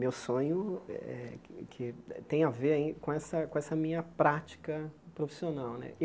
Meu sonho eh que tem a ver ain com essa com essa minha prática profissional né.